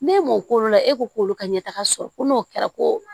N'e m'o k'olu la e ko k'olu ka ɲɛ taga sɔrɔ ko n'o kɛra ko